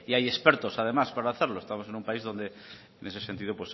hay expertos además para hacerlo estamos en un país donde en ese sentido